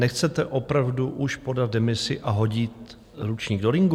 Nechcete opravdu už podat demisi a hodit ručník do ringu?